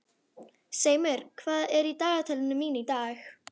Seimur, hvað er í dagatalinu mínu í dag?